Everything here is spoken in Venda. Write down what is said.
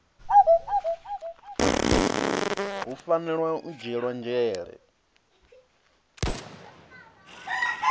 hu fanela u dzhielwa nzhele